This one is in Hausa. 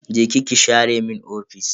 Je ki ki share mun ofis.